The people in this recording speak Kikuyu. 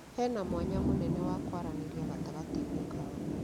Hena mwanya mũnene wa kwaranĩria gatagatĩ-inĩ kao